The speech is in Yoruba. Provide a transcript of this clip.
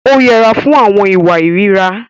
Ó yẹra fún àwọn ìwà ìríra.